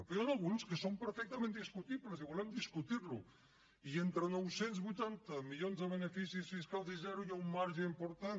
però n’hi han alguns que són perfectament discutibles i volem discutir los i entre nou cents i vuitanta milions de beneficis fiscals i zero hi ha un marge important